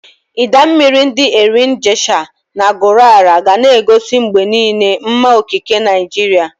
Idaa mmiri ndi Erin Ijesha na Gurara ga na-egosi mgbe niile mma okike Naijiria.